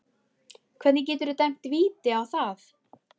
Hvernig geturðu dæmt víti á það?